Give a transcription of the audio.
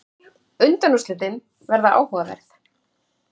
Undanúrslitin verða áhugaverð.